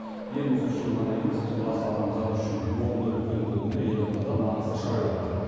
еліміз үшін ғана емес тұтас адамзат үшін орны үлкен бұл күні елордада маңызды шара өтті